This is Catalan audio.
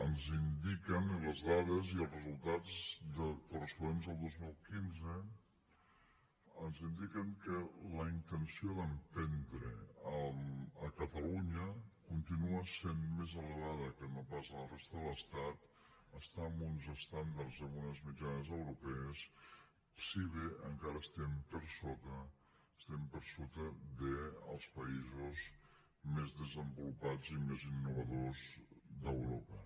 ens indiquen les dades i els resultats corresponents al dos mil quinze que la intenció d’emprendre a catalunya continua sent més elevada que no pas a la resta de l’estat està en uns estàndards amb unes mitjanes europees si bé encara estem per sota dels països més desenvolupats i més innovadors d’europa